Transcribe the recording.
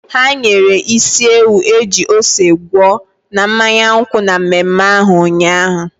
Ha nyere isi ewu eji ose gwọọ na mmanya nkwụ na mmemme ahụ ụnyaahụ.